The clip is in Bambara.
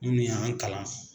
Munnu y'na kalan.